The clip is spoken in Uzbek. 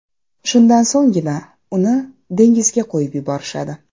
Shundan so‘nggina uni dengizga qo‘yib yuborishadi.